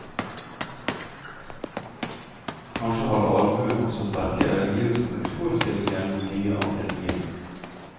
Kanskje hadde allmuen også sterke religiøse motforestillinger mot mye av det nye.